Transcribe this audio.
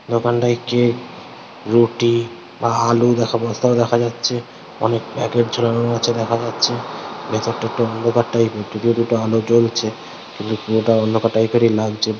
দোকানটাই একটি রুটি আলু দেখা বস্তা দেখা যাচ্ছে অনেক প্যাকেট ঝুলানো আছে দেখা যাচ্ছে ভিতরটা একটু অন্ধকার টাইপ এর দুটো এল জ্বলছে পুরোটা অন্ধকার টাইপ এর লাগছে।